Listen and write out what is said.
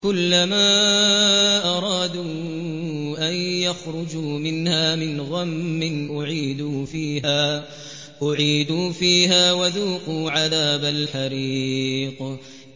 كُلَّمَا أَرَادُوا أَن يَخْرُجُوا مِنْهَا مِنْ غَمٍّ أُعِيدُوا فِيهَا وَذُوقُوا عَذَابَ الْحَرِيقِ